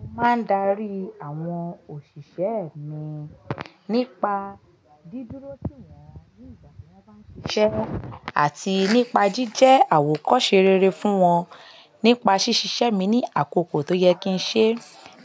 Mo máa ń darí àwọn òṣìṣẹ́ mi nípa dídúró tìwọ̀n wá ní ìgbà tí wọ́n bá ń ṣiṣẹ́ àti nípa jíjẹ́ àwòkọ́se rere fún wọn. Nípa ṣíṣe iṣẹ́ mi ní àkókò tó yẹ kí n ṣe,